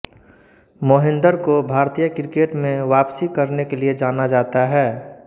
मोहिन्दर को भारतीय क्रिकेट में वापसी करने के लिए जाना जाता है